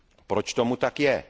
Proč tomu tak je?